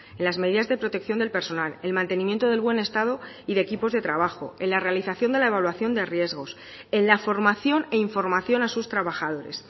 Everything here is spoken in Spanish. en las medidas de protección del personal el mantenimiento del buen estado y de equipos de trabajo en la realización de la evaluación de riesgos en la formación e información a sus trabajadores